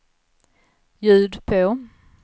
ljud på